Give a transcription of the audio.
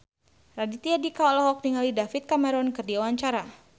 Raditya Dika olohok ningali David Cameron keur diwawancara